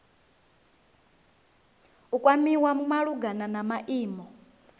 u kwamiwa malugana na maimo